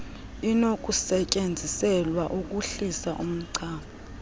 inokusetyenziselwa ukuhlisa umchamo